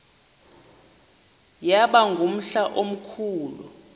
yaba ngumhla omkhulu